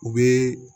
U bɛ